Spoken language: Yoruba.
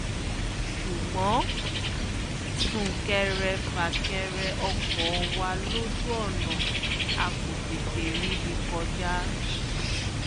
ṣùgbọ́n sún-kẹrẹ-fà-kẹrẹ ọkọ̀ wa lójú ọ̀nà a kò tètè ríbi kọjá